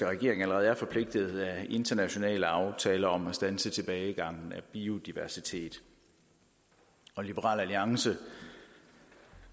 regering allerede er forpligtet af internationale aftaler om at standse tilbagegangen af biodiversitet og liberal alliance